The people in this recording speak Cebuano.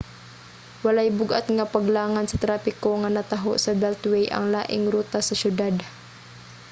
walay bug-at nga paglangan sa trapiko nga nataho sa beltway ang laing rota sa siyudad